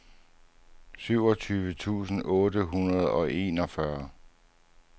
syvogtyve tusind otte hundrede og enogfyrre